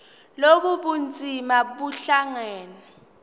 lobu bunzima buhlangane